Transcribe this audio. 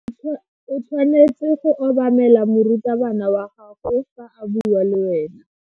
O tshwanetse go obamela morutabana wa gago fa a bua le wena.